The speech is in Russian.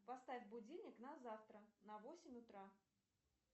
поставь будильник на завтра на восемь утра